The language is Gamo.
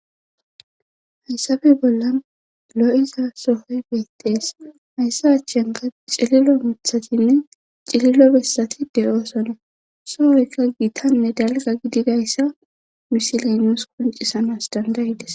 Hayssappe bolla loo7iza sohoy beettees hayssa achchanga cililo muthatinne cililo bessati de7oosona sohoyka giitanne dalga gidi gayssa misilenoos koncisamas dandayides.